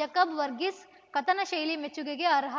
ಜಕಬ್‌ ವರ್ಗೀಸ್‌ ಕಥನ ಶೈಲಿ ಮೆಚ್ಚುಗೆಗೆ ಅರ್ಹ